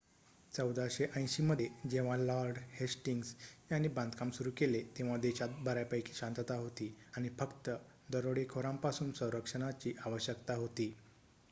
१४८० मध्ये जेव्हा Lord Hastings यांनी बांधकाम सुरू केले तेव्हा देशात बऱ्यापैकी शांतता होती आणि फक्त दरोडेखोरांपासून संरक्षणाची आवश्यकता होती